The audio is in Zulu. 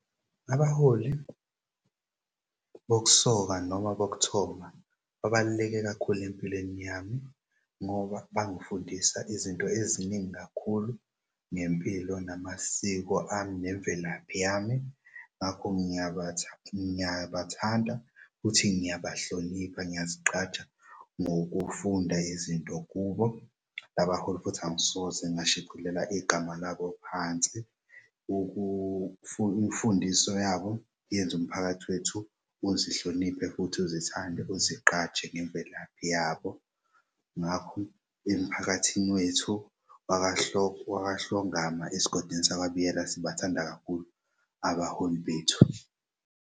Abaholi bokusoka noma bokuthoma babaluleke kakhulu empilweni yami ngoba bangifundisa izinto eziningi kakhulu ngempilo namasiko ami nemvelaphi yami. Ngakho ngiyabathanda futhi ngiyabahlonipha. Ngiyazigqaja ngokufunda izinto kubo labaholi futhi angisoze ngadicilela igama labo phansi, imfundiso yabo yenz'umphakathi wethu uzihloniphe futhi uzithande uzigqaje ngemvelaphi yabo. Ngakho emphakathini wethu wakwaHlongama esigodini sakwaBiyela sibathanda kakhulu abaholi bethu.